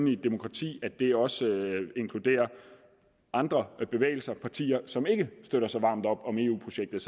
i et demokrati at det også inkluderer andre bevægelser og partier som ikke støtter så varmt op om eu projektet